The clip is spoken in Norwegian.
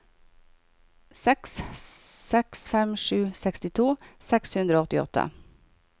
seks seks fem sju sekstito seks hundre og åttiåtte